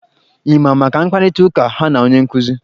Ị ma maka mkparịta ụka ha na onye nkụzi?